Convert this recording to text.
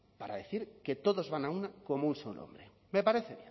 para decir que todos van a una como un solo hombre me parece